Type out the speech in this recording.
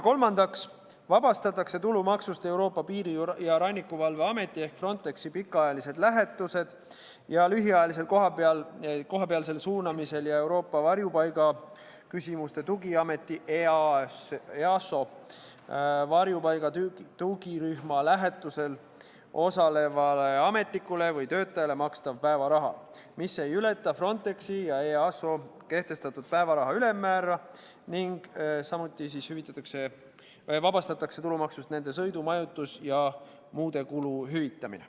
Kolmandaks vabastatakse tulumaksust Euroopa Piiri- ja Rannikuvalve Ameti pikaajalisel lähetusel ja lühiajalisel kohapeale suunamisel ja Euroopa Varjupaigaküsimuste Tugiameti varjupaigatugirühma lähetusel osalevale ametnikule või töötajale makstav päevaraha, mis ei ületa Frontexi ja EASO kehtestatud päevaraha ülemmäära, ning sõidu-, majutus- ja muude kulude hüvitist.